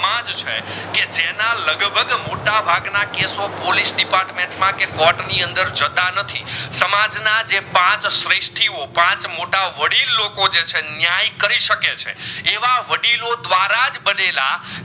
મોટા ભાગ ના ખાસો પોલિસ ડિપાર્ટમેંટ કે કોર્ટ ની અંદર જતાં નથી સમાજ ના જે પાચ શ્રીસ્તીઓ પાચ મોટા વડીલ લોકો જે છે ન્યાએ કરી સકે છે એવા વડીલો ધ્વર જ વેધેલા